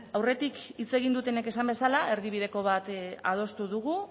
aurretik hitz egin dutenek esan bezala erdibideko bat adostu dugu